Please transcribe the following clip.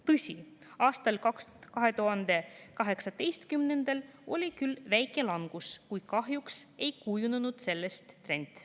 Tõsi, aastal 2018 oli küll väike langus, kuid kahjuks ei kujunenud sellest trend.